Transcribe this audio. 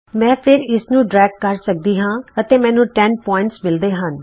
ਮੈਂ ਫਿਰ ਇਸਨੂੰ ਡਰੇਗ ਕਰ ਸਕਦੀ ਹਾਂ ਅਤੇ ਮੈਨੂੰ 10 ਬਿੰਦੂ ਮਿਲਦੇ ਹਨ